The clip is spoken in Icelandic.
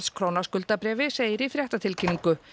króna skuldabréfi segir í fréttatilkynningu